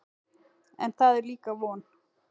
En það er líka von.